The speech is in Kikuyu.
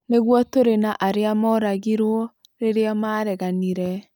Nĩguo tũrĩ na arĩa mooragirũo rĩrĩa mareganire.